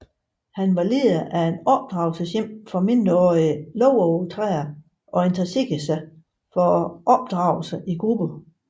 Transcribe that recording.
Han var leder af et opdragelseshjem for mindreårige lovovertrædere og interesserede sig for opdragelse i grupper